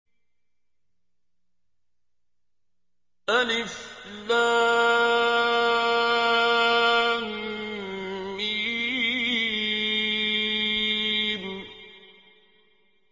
الم